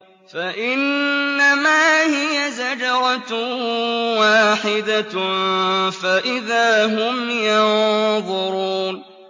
فَإِنَّمَا هِيَ زَجْرَةٌ وَاحِدَةٌ فَإِذَا هُمْ يَنظُرُونَ